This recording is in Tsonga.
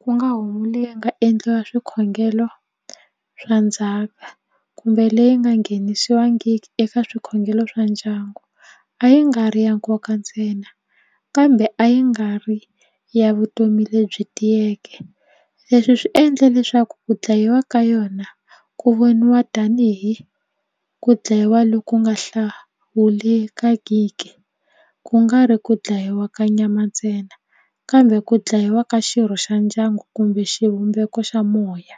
ku nga homu leyi nga endliwa swikhongelo swa ndzhaka kumbe leyi nga nghenisiwangiki eka swikhongelo swa ndyangu a yi nga ri ya nkoka ntsena kambe a yi nga ri ya vutomi lebyi tiyeke leswi swi endla leswaku ku dlayiwa ka yona ku voniwa tanihi ku dlayiwa loku nga hlawulekangike ku nga ri ku dlayiwa ka nyama ntsena kambe ku dlayiwa ka xirho xa ndyangu kumbe xivumbeko xa moya.